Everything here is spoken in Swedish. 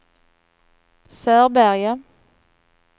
Sörberge